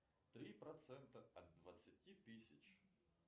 три процента от двадцати тысяч